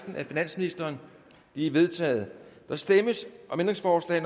af finansministeren de er vedtaget der stemmes